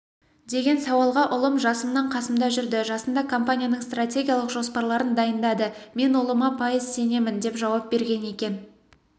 деген сауалға ұлым жасымнан қасымда жүрді жасында компанияның стратегиялық жоспарларын дайындады мен ұлыма пайыз сенемін деп жауап берген екен